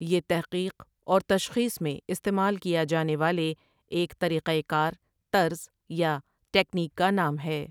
یہ تحقیق اور تشخیص میں استعمال کیا جانے والے ایک طریقہ کار طرز یا ٹیکنیک کا نام ہے ۔